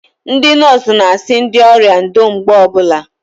Ndị nọọsụ n'asị ndị ọrịa ndo mgbe ọbụla